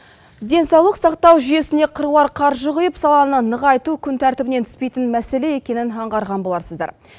денсаулық сақтау жүйесіне қыруар қаржы құйып саланы нығайту күн тәртібінен түспейтін мәселе екенін аңғарған боларсыздар